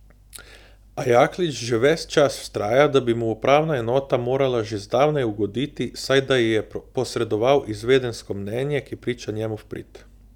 A Jaklič že ves čas vztraja, da bi mu upravna enota morala že zdavnaj ugoditi, saj da ji je posredoval izvedensko mnenje, ki priča njemu v prid.